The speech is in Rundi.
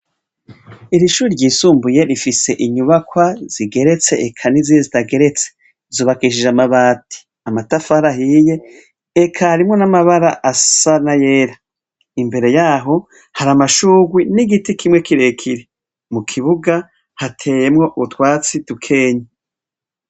Iri shuri ryisumbuye rifise inyubakwa zigeretse ekanizi zitageretse zubakishije amabati amatafara ahiye ekarimwo n'amabara asa na yera imbere yaho hari amashurwi n'igiti kimwe kirekire mu kibuga hateyemwo ubutwatsi dukenya.